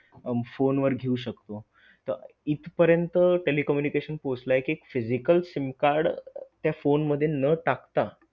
Phone वर घेऊ शकतो, तर इथपर्यंत telecommunication पोहचलं आहे कि physical SIM card त्या phone मध्ये न टाकता